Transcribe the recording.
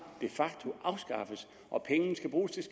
de facto afskaffes og pengene skal bruges til